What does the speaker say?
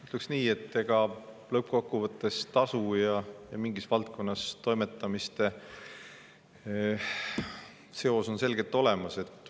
Ütleksin nii, et lõppkokkuvõttes seos tasu ja mingis valdkonnas toimetamiste vahel on selgelt olemas.